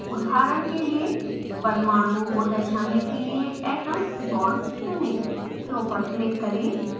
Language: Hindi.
उदहारण के लिए परमाणुओं को दर्शाने के लिए atoms/bonds चुनें